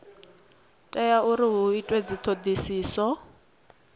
tea uri hu itwe dzithodisiso